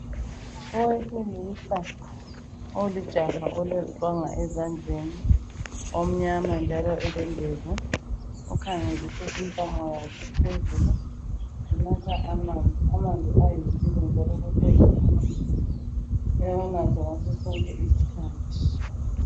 Owesilisa olijaha oleziqwanga ezandleni omnyama njalo elendevu. Ukhangelise intamo yakhe phezulu unatha amanzi, amanzi ayimpilo njalo kufuze umuntu ewanathe ngaso sonke isikhathi.